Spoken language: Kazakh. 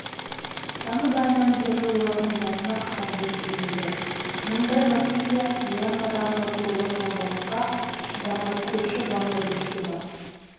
тамыз айынан бері олардың басына қара бұлт үйірілді мыңдай рохинджа мьянмадағы зорлық-зомбылыққа шыдамай көрші бангладешке бас